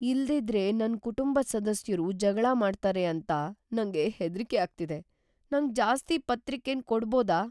ಇಲ್ದಿದ್ದರೆ ನನ್ ಕುಟುಂಬದ್ ಸದಸ್ಯರು ಜಗಳ ಮಾಡ್ತಾರೆ ಅಂತ ನಂಗೆ ಹೆದ್ರಿಕೆ ಅಗ್ತಿದೆ. ನಂಗ್ ಜಾಸ್ತಿ ಪತ್ರಿಕೆನ್ ಕೊಡಬೋದಾ?